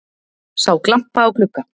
Sá glampa á glugga